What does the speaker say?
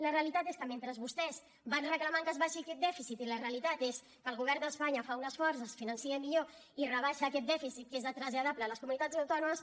la realitat és que mentre vostès van reclamant que s’abaixi aquest dèficit i la realitat és que el govern d’espanya fa un esforç es finança millor i rebaixa aquest dèficit que és traslladable a les comunitats autònomes